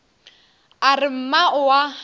a re mma o a